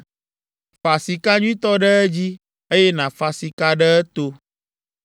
Fa sika nyuitɔ ɖe edzi, eye nàfa sika ɖe eto.